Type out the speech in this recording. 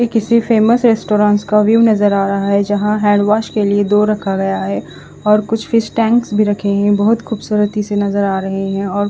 ये किसी famous restaurants का व्यू नज़र आ रहा है जहा हेन्डवोस के लिए दो रखा गया है और कुछ फिश टेंक भी रखे है बोहोत खुबसुरुती से नज़र आ रहे है और--